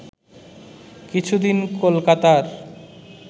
কিছুদিন কলকাতার